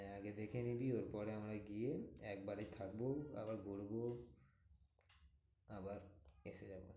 হ্যাঁ আগে দেখে নিবি ওর পরে আমরা গিয়ে একবারে থাকবো। আবার ঘুরবো আবার এসে যাবো।